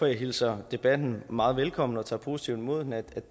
jeg hilser debatten meget velkommen og tager positivt imod den at